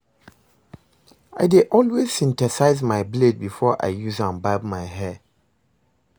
I dey always synthesize my blade before I use am barb my hair